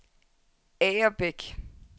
Agerbæk